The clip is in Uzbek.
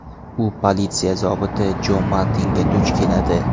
U politsiya zobiti Jo Martinga duch keladi.